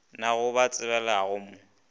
na go a tsebagala mo